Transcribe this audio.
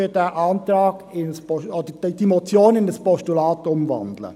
Wir wandeln diese Motion in ein Postulat um.